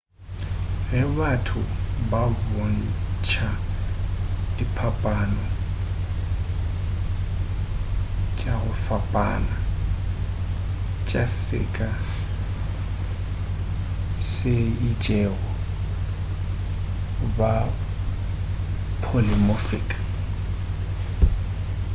ge batho ba bontša diphapano tva go fapana tša seka se itšego ba polymorphic